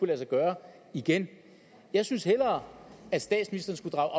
lade sig gøre igen jeg synes hellere at statsministeren skulle drage